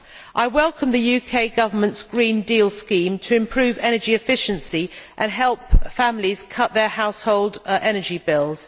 I welcome the UK Government's Green Deal scheme to improve energy efficiency and help families cut their household energy bills.